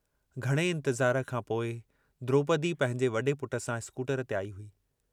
घणे इन्तज़ार खां पोइ द्रोपदी पंहिंजे वडे पुट सां स्कूटर ते आई हुई।